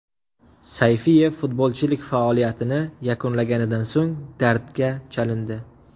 Sayfiyev futbolchilik faoliyatini yakunlaganidan so‘ng dardga chalindi.